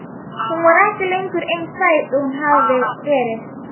Hún var ekki lengur eins sæt og hún hafði verið.